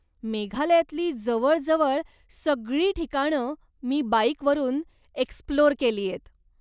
मेघालयातली जवळजवळ सगळी ठिकाणं मी बाईकवरून एक्स्प्लोअर केलीयत.